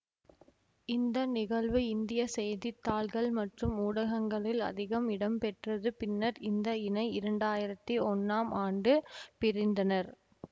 இந்த நிகழ்வு இந்திய செய்தி தாள்கள் மற்றும் ஊடங்களில் அதிகம் இடம்பெற்றது பின்னர் இந்த இணை இரண்டாயிரத்தி ஒன்னாம் ஆண்டு பிரிந்தனர்